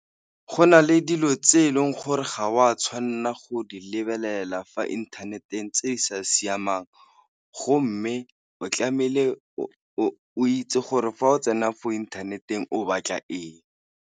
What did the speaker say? Go na le dilo tse e leng gore ga o a tshwanela go di lebelela fa inthaneteng tse e sa siamang, go mme o tlamehile o o itse gore fa o tsena fo inthaneteng o batla eng.